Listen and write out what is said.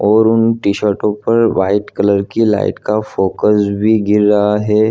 और उन T shirt पर वाइट कलर का लाइट का भी फोकस गिर रहा हैं।